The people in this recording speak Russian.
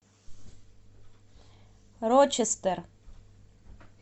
рочестер